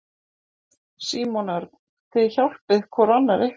Símon Örn: Þið hjálpið hvor annarri?